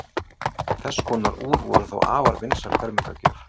þess konar úr voru þá afar vinsæl fermingargjöf